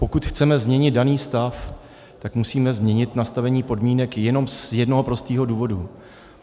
Pokud chceme změnit daný stav, tak musíme změnit nastavení podmínek jenom z jednoho prostého důvodu.